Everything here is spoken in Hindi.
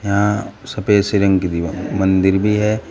यहां सफेद सी रंग की दीवा मंदिर भी है।